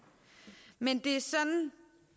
men det